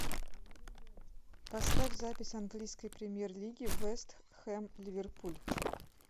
поставь запись английской премьер лиги вест хэм ливерпуль